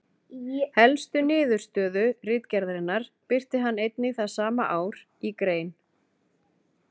Helstu niðurstöðu ritgerðarinnar birti hann einnig það sama ár í grein.